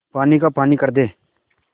पानी का पानी कर दे